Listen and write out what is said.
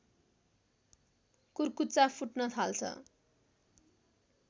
कुर्कुच्चा फुट्न थाल्छ